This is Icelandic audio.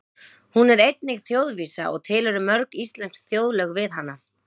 Hún er einnig þjóðvísa og til eru mörg íslensk þjóðlög við hana.